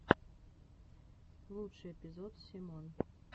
лучший эпизод семон